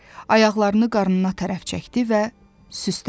Ayaqlarını qarnına tərəf çəkdi və süstdəldi.